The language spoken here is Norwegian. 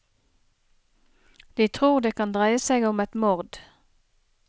De tror det kan dreie seg om et mord.